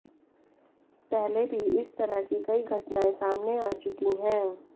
पहले भी इस तरह की कई घटनाएं सामने आ चुकी हैं